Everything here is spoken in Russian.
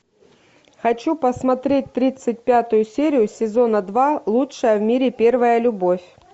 хочу посмотреть тридцать пятую серию сезона два лучшая в мире первая любовь